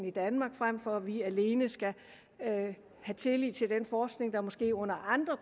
i danmark frem for at vi alene skal have tillid til den forskning og måske under